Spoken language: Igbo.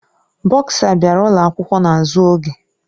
Bọsa bịara ụlọ akwụkwọ n'azụ oge.